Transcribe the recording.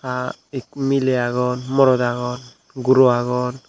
ah ek miley agon morot agon guro agon.